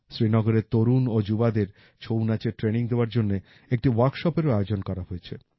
শ্রীনগরের তরুণ ও যুবাদের ছৌ নাচের ট্রেনিং দেওয়ার জন্য একটি ওয়ার্কশপেরও আয়োজন করা হয়েছে